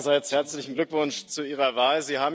Auch meinerseits herzlichen Glückwunsch zu Ihrer Wahl!